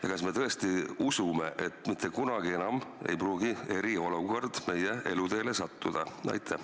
Ja kas me tõesti usume, et mitte kunagi enam ei pruugi eriolukord meie eluteele sattuda?